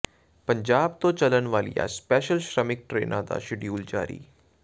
ਪੰਜਾਬ ਤੋਂ ਚੱਲਣ ਵਾਲੀਆਂ ਸਪੈਸ਼ਲ ਸ਼੍ਰਮਿਕ ਟਰੇਨਾਂ ਦਾ ਸ਼ਡਿਊਲ ਜਾਰੀ